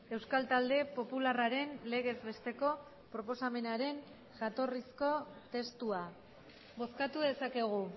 euskal talde popularraren legez besteko proposamenaren jatorrizko testua bozkatu dezakegu